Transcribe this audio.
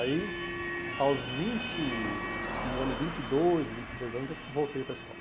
Aí, aos vinte, se não me engano, vinte e dois, vinte e três anos, eu voltei para a escola.